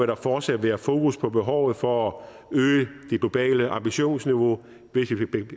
der fortsat være fokus på behovet for at øge det globale ambitionsniveau